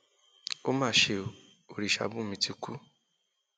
ó má ṣe ọ orìṣàbùnmí ti kú